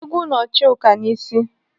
Ị́gwụ́ nọ Chuka n'isi.